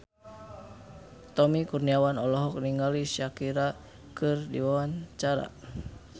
Tommy Kurniawan olohok ningali Shakira keur diwawancara